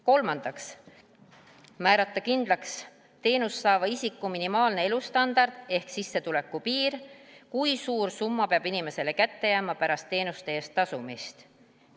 Kolmandaks, määrata kindlaks teenust saava isiku minimaalne elustandard ehk sissetuleku piir, kui suur summa peab inimesele kätte jääma pärast teenuste eest tasumist.